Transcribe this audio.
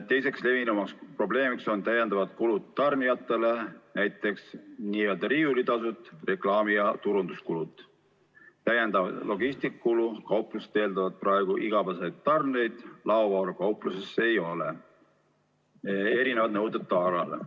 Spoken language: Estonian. Teine levinud probleem on täiendavad kulud tarnijatele, näiteks n-ö riiulitasud, reklaami- ja turunduskulud, täiendavalt logistikakulu, sest kauplused eeldavad praegu igapäevaseid tarneid, kuna laovaru kaupluses ei ole, samuti on erinevad nõuded taara kohta.